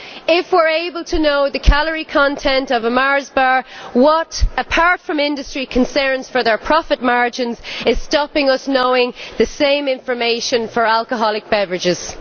If we are able to know the calorie content of a Mars bar, what, apart from industry concerns for their profit margins, is stopping us from knowing the same information for alcoholic beverages?